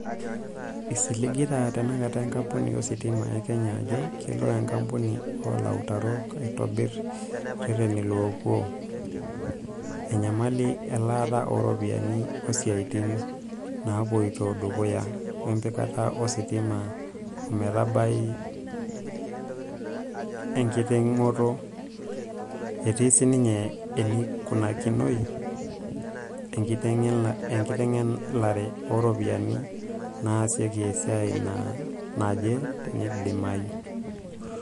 Isiligita tenakata enkapuni ositima e Kenya ajoo kelo enkapuni o lautarok aitobir ireteni loopuo "enyamali elaata oo ropiyiani oosiatin naapoito dukuya wempikata ositima o metabai enkitingoto" etii sininye eneikunakinoi "Enkitengelare oo ropiyani naasiaki esiai naje teinidimayu".